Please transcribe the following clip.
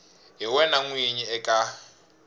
hi wena n winyi eka